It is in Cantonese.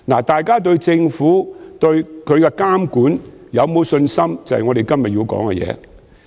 大家對政府和其監管有否信心，便是我們今天要討論的議題。